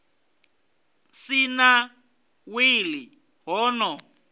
si na wili ho no